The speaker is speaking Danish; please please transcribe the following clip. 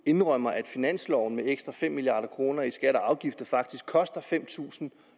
indrømmer at finansloven med ekstra fem milliard kroner i skatter og afgifter faktisk koster fem tusind